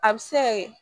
A bɛ se ka kɛ